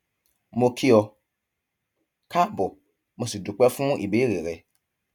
mo kí ọ káàbọ mo sì dúpẹ fún ìbéèrè rẹ